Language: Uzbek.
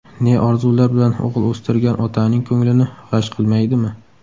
Ne orzular bilan o‘g‘il o‘stirgan otaning ko‘nglini g‘ash qilmaydimi?